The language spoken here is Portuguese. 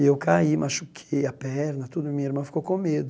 E eu caí, machuquei a perna, tudo, e minha irmã ficou com medo.